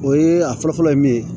O ye a fɔlɔ fɔlɔ ye min ye